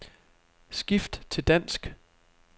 Skift til dansk.